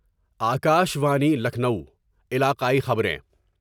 آ کا شوانی لکھنؤ علاقائی خبریں